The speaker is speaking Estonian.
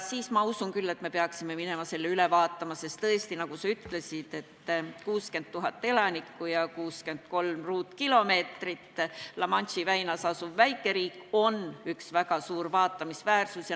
Siis, ma usun küll, me peaksime minema ja selle üle vaatama, sest tõesti, nagu sa ütlesid, et 60 000 elanikku ja 63 ruutkilomeetrit, see La Manche'i väinas asuv väikeriik on üks väga suur vaatamisväärsus.